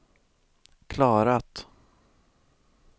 klarat